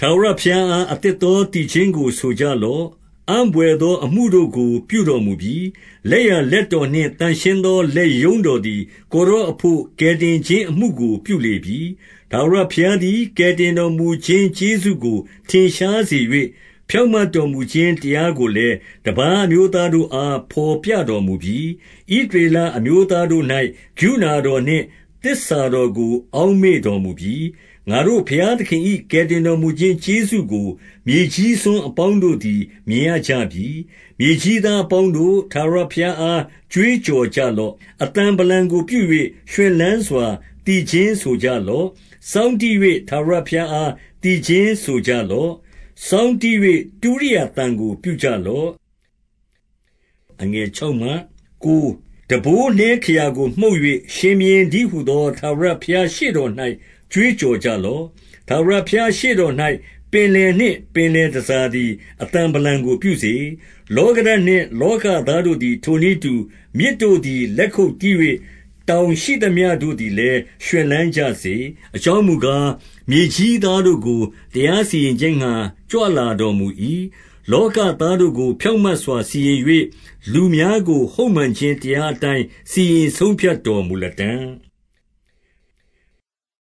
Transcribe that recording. ထာဝရဘုရားအား အသစ်သောသီချင်းကို ဆိုကြလော့။ အံ့ဘွယ်သော အမှုတို့ကို ပြုတော်မူပြီ။ လက်ျာလက်တောနှင့် သန့်ရှင်းသော လက်ရုံ့းတော်သည် ကိုယ်တော်အဘို့ ကယ်တင်ခြင်း၊ အမှုကို ပြုလေပြီ။ 2 ထာဝရဘုရားသည် ကယ်တင်တော်မူခြင်း ကျေးဇူးကို ထင်ရှားစေ၍၊ ဖြောင့်မတ်တော်မူခြင်း တရား ကိုလည်း တပါးအမျိုးသားတို့အား ဘော်ပြတော်မူပြီ။ 3 ဣသရေလအမျိုးသားတို့၌ ကရုဏာတော်နှင့် သစ္စာတော်ကို အောက်မေ့တော်မူပြီ။ ငါတို့ဘုရားသခင် ၏ ကယ်တင်တော်မူခြင်းကျေးဇူးကို မြေကြီးစွန်းအပေါင်း တို့သည် မြင်ရကြပြီ။ 4 မြေကြီးသားအပေါင်းတို့၊ ထာဝရဘုရားအား ကြွေးကြော်ကြလော့။ အသံဗလံကို ပြု၍ ရွှင်လန်းစွာ သီချင်းဆိုလျက် ချီးမွမ်းကြလော့။ 5 စောင်းတီး၍ထာဝရဘုရားအားသီချင်းဆိုကြလော့။ စောင်းတီး၍ တုရိယာ သံကို ပြုကြလော့။ 6 တံပိုးနှဲခရာကိုမှုတ်၍၊ ရှင်ဘုရင်တည်းဟူသော ထာဝရဘုရားရှေ့တော်၌ ကြွေးကြော်ကြလော့။ 7 ထာဝရဘုရားရှေ့တော်၌၊ ပင်လယ်နှင့်ပင်လယ် တန်ဆာသည် အသံဗလံကို ပြုစေ။ လောကဓာတ်နှင့် လောကသားတို့သည် ထိုနည်းတူ၊ 8 မြစ်တို့သည် လက်ခုပ်တီး၍၊ တောင်ရှိသမျှ တို့သည်လည်း ရွှင်လန်းကြစေ။ 9 အကြောင်းမူကား၊ မြေကြီးသားတို့ကို တရား စီရင်ခြင်းငှါ ကြွလာတော်မူ၏။ လောကာသားတို့ကို ဖြောင့်မတ်စွာ စီရင်၍၊ လူများကို ဟုတ်မှန်ခြင်းတရား အတိုင်း စီရင်ဆုံးဖြတ်တော်မူလတံ့။